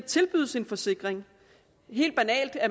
tilbydes en forsikring helt banalt er